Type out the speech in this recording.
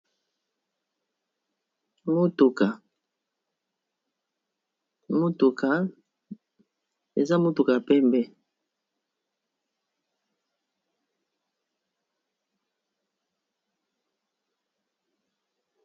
Mutuka eza mutuka pembe